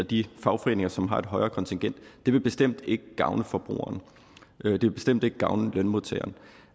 de fagforeninger som har et højere kontingent vil bestemt ikke gavne forbrugerne det vil bestemt ikke gavne lønmodtagerne